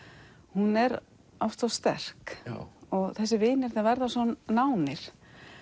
hún er oft svo sterk og þessir vinir þeir verða svo nánir